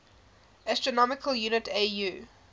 astronomical unit au